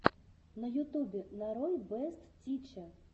на ютубе нарой бэст тиче